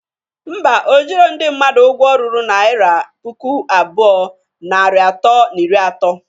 Ḿbà, ojiro ndị mmadụ ụgwọ ruru naira puku abụọ, narị atọ na iri ato